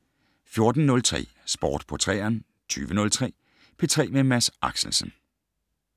14:03: Sport på 3'eren 20:03: P3 med Mads Axelsen